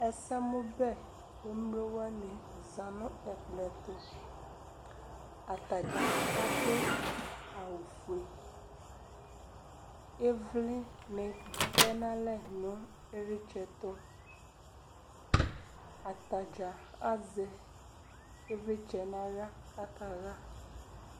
Ɛsɛmʋbɛ emlo wani za nʋ ɛkplɔ ɛtʋ Atadza adʋ awʋ fue Ivli ni tɛ nʋ alɛ nʋ ilitsɛ tʋ Atadza azɛ ivlitsɛ n'aɣla kakaɣa